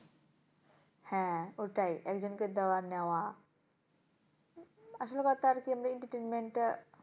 হ্যাঁ ওটাই একজনকে দেওয়া নেওয়া আসলে কথা আরকি আমরা entertainment টা,